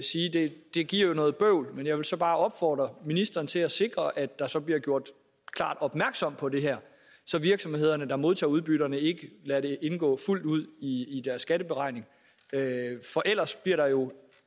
det jo giver noget bøvl men jeg vil så bare opfordre ministeren til at sikre at der så bliver gjort klart opmærksom på det her så virksomhederne der modtager udbytterne ikke lader det indgå fuldt ud i deres skatteberegning for ellers bliver der jo